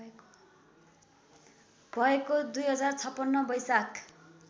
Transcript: भएको २०५६ वैशाख